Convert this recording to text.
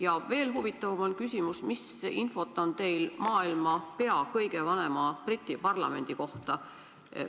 Ja veel huvitavam on küsimus, mis infot on teil maailma pea kõige vanema, Briti parlamendi kohta.